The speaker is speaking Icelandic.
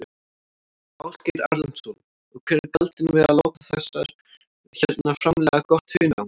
Ásgeir Erlendsson: Og hver er galdurinn við að láta þessar hérna framleiða gott hunang?